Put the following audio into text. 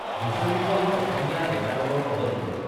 হুচৰী গোৱা অসমীয়া ডেকা দলৰ সহযোগত